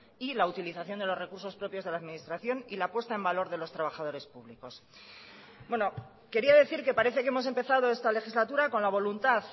y la utilización de los recursos propios de la administración y la puesta en valor de los trabajadores públicos quería decir que parece que hemos empezado esta legislatura con la voluntad